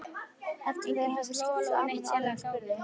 Eftir að þeir höfðu skipst á almennum orðum spurði